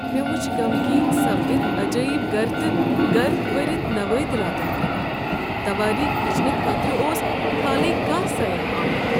مےٚ وٕچھ غمغین سپدِتھ عجٲیب گر تہٕ گرد بٔرتھ نوٲدِراتن كُن۔ توٲریخ وٕچھنہٕ خٲطرٕ اوس کھالٕے کانٛہہ سیاح آمت۔